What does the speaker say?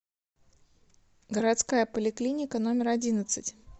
городская поликлиника номер одиннадцать